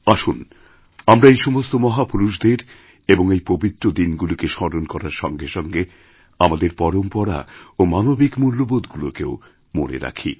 আসুন আমরা এই সমস্ত মহাপুরুষদের এবং এই পবিত্র দিনগুলিকে স্মরণকরার সঙ্গে সঙ্গে আমাদের পরম্পরা এবং মানবিক মূল্যবোধগুলিকেও মনে রাখি